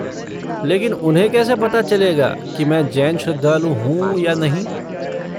लेकिन उन्हें कैसे पता चलेगा कि मैं जैन श्रद्धालु हूँ या नहीं?